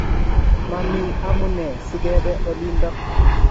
mami amunee si kebe olindok